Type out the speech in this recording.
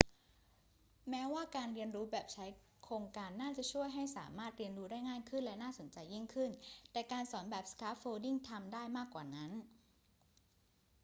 แม้ว่าการเรียนรู้แบบใช้โครงการน่าจะช่วยให้สามารถเรียนรู้ได้ง่ายขึ้นและน่าสนใจยิ่งขึ้น แต่การสอนแบบ scaffolding ทำได้มากกว่านั้น